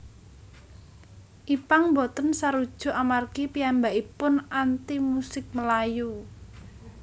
Ipank boten sarujuk amargi piyambakaipun anti musik melayu